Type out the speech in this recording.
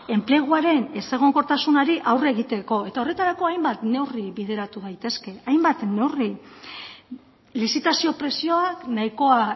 enpleguaren ez egonkortasunari aurre egiteko eta horretarako hainbat neurri bideratu daitezke hainbat neurri lizitazio prezioak nahikoa